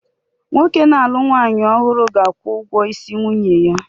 Nwoke na-alụ nwanyị ọhụrụ ga-akwụ ụgwọ isi nwunye ya